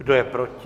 Kdo je proti?